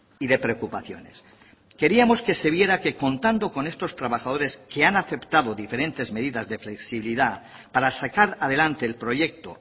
y de preocupaciones queríamos que se viera que contando con estos trabajadores que han aceptado diferentes medidas de flexibilidad para sacar adelante el proyecto